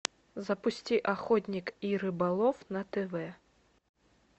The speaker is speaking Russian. запусти охотник и рыболов на тв